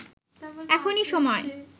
এখনি সময়”